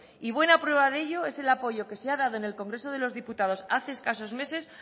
y buena prueba de ello es el apoyo que se ha dado en el congreso de los diputados hace escasos meses